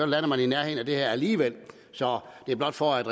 lander man i nærheden af det her alligevel så det er blot for at